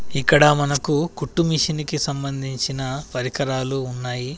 ఇక్కడ మనకు కుట్టుమిషిన్కి సంబంధించిన పరికరాలు ఉన్నాయి.